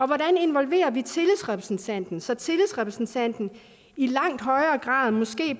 hvordan involverer vi tillidsrepræsentanten så tillidsrepræsentanten i langt højere grad måske